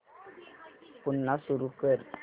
पुन्हा सुरू कर